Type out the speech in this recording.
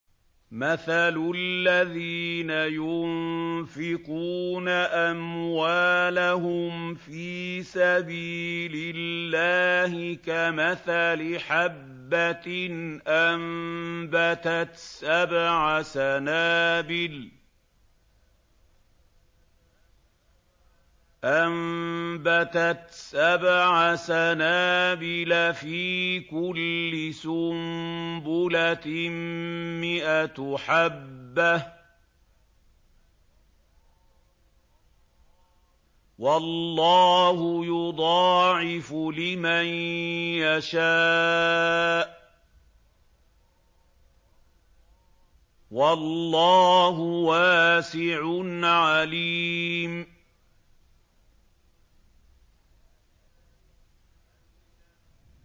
مَّثَلُ الَّذِينَ يُنفِقُونَ أَمْوَالَهُمْ فِي سَبِيلِ اللَّهِ كَمَثَلِ حَبَّةٍ أَنبَتَتْ سَبْعَ سَنَابِلَ فِي كُلِّ سُنبُلَةٍ مِّائَةُ حَبَّةٍ ۗ وَاللَّهُ يُضَاعِفُ لِمَن يَشَاءُ ۗ وَاللَّهُ وَاسِعٌ عَلِيمٌ